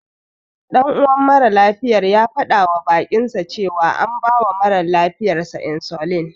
Ɗan uwan maralafiyar ya faɗawa baƙinsa cewa an bawa ɗan mara lafiyarsa insulin.